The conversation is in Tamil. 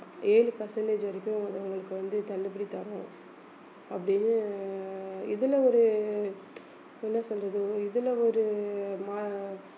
ஏழு percentage வரைக்கும் அது உங்களுக்கு வந்து தள்ளுபடி தர்றோம் அப்படின்னு இதுல ஒரு என்ன சொல்றது இதுல ஒரு மா~